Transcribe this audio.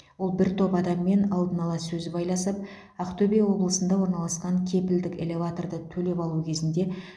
ол бір топ адаммен алдын ала сөз байласып ақтөбе облысында орналасқан кепілдік элеваторды төлеп алу кезінде